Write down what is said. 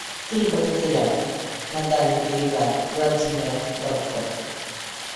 три богатыря на дальних берегах владимира братко